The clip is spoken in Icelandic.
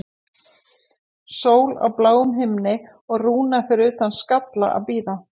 Sól á bláum himni og Rúna fyrir utan Skalla að bíða.